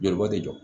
Joli bɔ tɛ jɔ